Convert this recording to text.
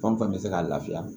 Fɛn o fɛn bɛ se ka lafiya